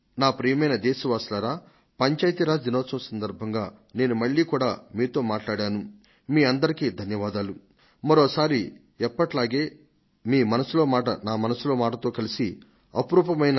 ప్రియమైన నా దేశ వాసులారా పంచాయతీ రాజ్ దినం వంటి ముఖ్యమైన సందర్భంలో నేను ఈ రోజు సాయంత్రం మీ అందరితోను తప్పక సమావేశమవుతాను